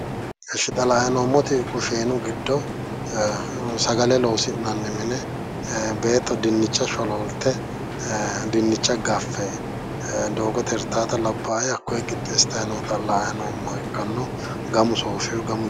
Ishshi xa la'ayi noommoti kusheenu giddo sagale loosi'nanni mine beetto dinnicha sholoolte dinnicha gaffe doogote hirtaata labbaae hakkoye qixxeessitati noota la'ayi noommoha ikkanno. Gamu sooffewoho gamu..